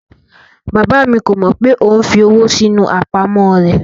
Bàbá mi kò mọ pé òun fi owó sí inú àpamọ́wọ́ rẹ̀